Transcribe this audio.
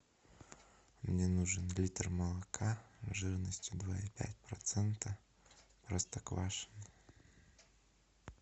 мне нужен литр молока жирностью два и пять процента простоквашино